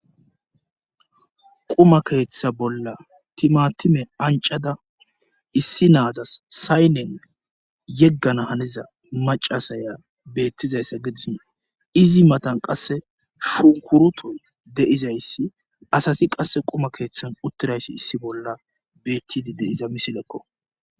quma keeththa bolla timatime ancada issi naazas saynen yeggana haniza macasaya beettizayssa gidii izi matan qasse shunkurutoy deizayssi asati qasse quma keeththan uttirayssi issi bolla bettidi deiza misilekko